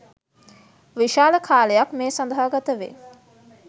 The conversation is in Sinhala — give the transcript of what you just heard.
විශාල කාලයක් මේ සඳහා ගතවේ.